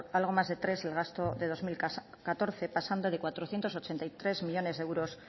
algo más de tres el gasto de dos mil catorce pasando de cuatrocientos ochenta y tres millónes de euros